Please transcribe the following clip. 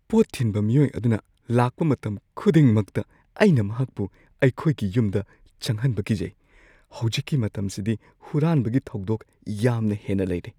ꯄꯣꯠ ꯊꯤꯟꯕ ꯃꯤꯑꯣꯏ ꯑꯗꯨꯅ ꯂꯥꯛꯄ ꯃꯇꯝ ꯈꯨꯗꯤꯡꯃꯛꯇ, ꯑꯩꯅ ꯃꯍꯥꯛꯄꯨ ꯑꯩꯈꯣꯏꯒꯤ ꯌꯨꯝꯗ ꯆꯪꯍꯟꯕ ꯀꯤꯖꯩ꯫ ꯍꯧꯖꯤꯛꯀꯤ ꯃꯇꯝꯁꯤꯗꯤ ꯍꯨꯔꯥꯟꯕꯒꯤ ꯊꯧꯗꯣꯛ ꯌꯥꯝꯅ ꯍꯦꯟꯅ ꯂꯩꯔꯦ꯫